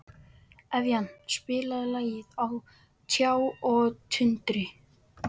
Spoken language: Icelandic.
Evían, spilaðu lagið „Á tjá og tundri“.